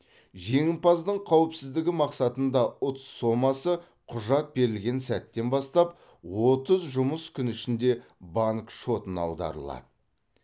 жеңімпаздың қауіпсіздігі мақсатында ұтыс сомасы құжат берілген сәттен бастап отыз жұмыс күні ішінде банк шотына аударылады